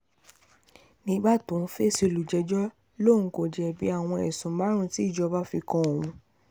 nígbà tó ń fèsì olùjẹ́jọ́ lòun kò jẹ̀bi àwọn ẹ̀sùn márùn-ún tí ìjọba fi kan òun